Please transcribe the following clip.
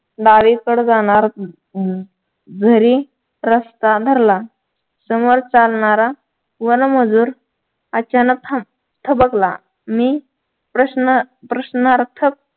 डावी कडे जाणार घरी रस्ता धरला समोर चालणारा वनमजूर अचानक थबकला मी प्रश्न प्रश्नार्थक